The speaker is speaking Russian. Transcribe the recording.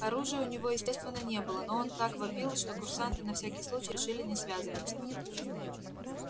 оружия у него естественно не было но он так вопил что курсанты на всякий случай решили не связываться